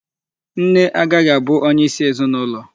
Nne agahị abụ onyeisi ezinụlọ.